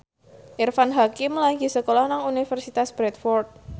Irfan Hakim lagi sekolah nang Universitas Bradford